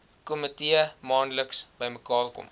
komitee maandeliks bymekaarkom